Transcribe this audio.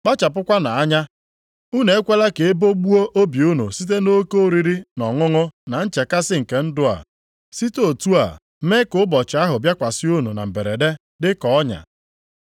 “Kpachapụkwanụ anya, unu ekwela ka e bogbuo obi unu site nʼoke oriri na ọṅụṅụ na nchekasị nke ndụ a, site otu a mee ka ụbọchị ahụ bịakwasị unu na mberede, dị ka ọnya.